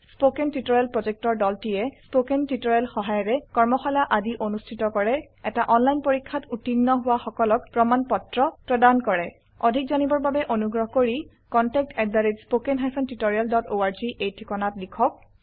spoken tutorial প্ৰকল্পৰ দলটিয়ে spoken tutorial সহায়িকাৰে কৰ্মশালা আদি অনুষ্ঠিত কৰে এটা অনলাইন পৰীক্ষাত উত্তীৰ্ণ হোৱা সকলক প্ৰমাণ পত্ৰ প্ৰদান কৰে অধিক জানিবৰ বাবে অনুগ্ৰহ কৰি contactspoken tutorialorg এই ঠিকনাত লিখক